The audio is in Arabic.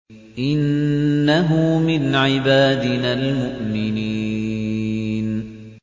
إِنَّهُ مِنْ عِبَادِنَا الْمُؤْمِنِينَ